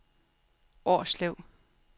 Årslev